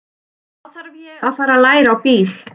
Þá þarf ég að fara að læra á bíl.